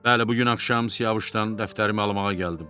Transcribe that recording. Bəli, bu gün axşam Siyavuşdan dəftərimi almağa gəldim.